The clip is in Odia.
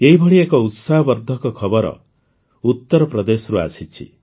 ଏହିଭଳି ଏକ ଉତ୍ସାହବର୍ଦ୍ଧକ ଖବର ଉତରପ୍ରଦେଶରୁ ଆସିଛି